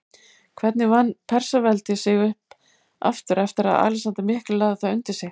Hvernig vann Persaveldi sig upp aftur eftir að Alexander mikli lagði það undir sig?